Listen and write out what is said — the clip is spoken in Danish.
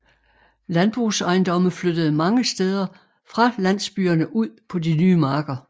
Landbrugsejendomme flyttede mange steder fra landsbyerne ud på de nye marker